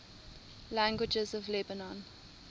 languages of lebanon